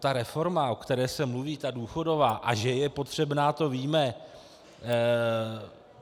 Ta reforma, o které se mluví, ta důchodová, a že je potřebná, to víme.